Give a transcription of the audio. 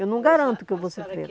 Eu não garanto que eu vou ser freira.